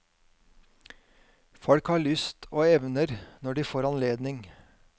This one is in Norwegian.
Folk har lyst og evner når de får anledning.